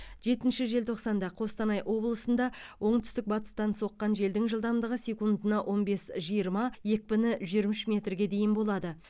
жетінші желтоқсанда қостанай облысында оңтүстік батыстан соққан желдің жылдамдығы секундына он бес жиырма екпіні жиырма үш метрге дейін болады